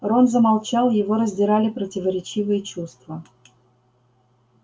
рон замолчал его раздирали противоречивые чувства